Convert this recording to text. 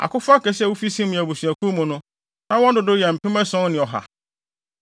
Akofo akɛse a wofi Simeon abusuakuw mu no, na wɔn dodow yɛ mpem ason ne ɔha.